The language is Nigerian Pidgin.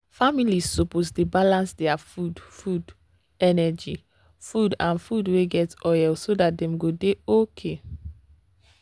families suppose balance their food food energy food and food wey get oil so dat dem go dey okay.